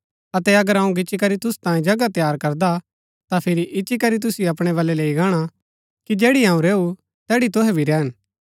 अतै अगर अऊँ गिच्ची करी तूसु तांयें जगह तैयार करदा ता फिरी इच्ची करी तुसिओ अपणै बलै लैई गाणा कि जैड़ी अऊँ रैऊँ तैड़ी तूहै भी रैहन